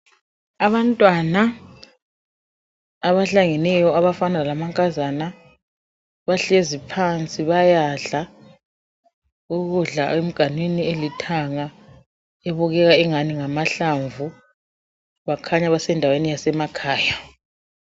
Abantwana abahlangeyo, abafana lamankazana . Bahlezi phansi bayadla ukudla emganwini elithanga ebukeka ingani ngamahlamvu . Bakhanya basendaweni yasemakhaya.